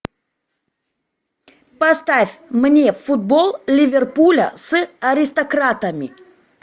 поставь мне футбол ливерпуля с аристократами